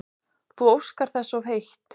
Þú óskar þess of heitt